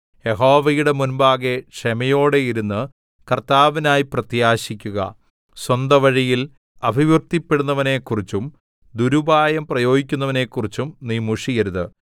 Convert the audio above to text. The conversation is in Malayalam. യഹോവയുടെ മുമ്പാകെ ക്ഷമയോടെയിരുന്ന് കർത്താവിനായി പ്രത്യാശിക്കുക സ്വന്ത വഴിയിൽ അഭിവൃദ്ധിപ്പെടുന്നവനെക്കുറിച്ചും ദുരുപായം പ്രയോഗിക്കുന്നവനെക്കുറിച്ചും നീ മുഷിയരുത്